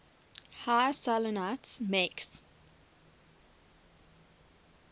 high salinities makes